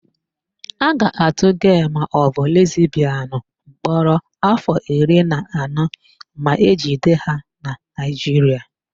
A ga-atụ gee maọbụ lesbịanụ mkpọrọ áfọ̀ iri na anọ ma ejide ha na Naịjiria.